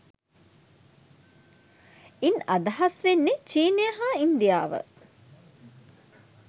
ඉන් අදහස් වන්නේ චීනය හා ඉන්දියාව